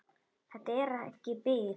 Þetta er ekki bið.